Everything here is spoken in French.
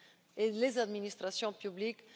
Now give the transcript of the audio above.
et des administrations publiques.